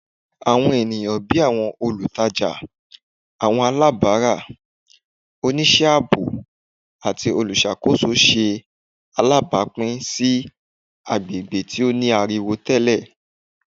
Awọn eniyan bii awọn olutaja, awọn alabara, oṣiṣẹ aabo, ati oluṣakoso ṣe alabapin si agbegbe ti o ni ariwo tẹlẹ